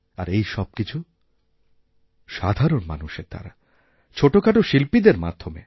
আর এই সবকিছু সাধারণমানুষের দ্বারা ছোটোখাটো শিল্পীদের মাধ্যমে